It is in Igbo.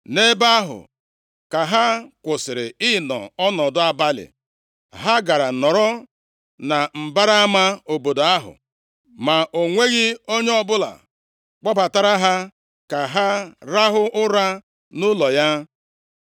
Nʼebe ahụ ka ha kwụsịrị ịnọ ọnọdụ abalị. Ha gara nọrọ na mbara ama obodo ahụ, ma o nweghị onye ọbụla kpọbatara ha ka ha rahụ ụra nʼụlọ ya.